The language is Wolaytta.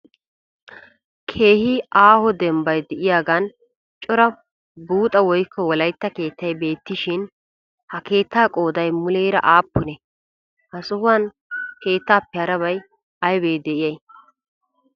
Keehi aaho denbbay de'iyagan cora buuxa woykko wolaytta keettay beettishin ha keettaa qooday muleera aappunee? Ha sohuwan keettaappe harabay aybee de'iyay?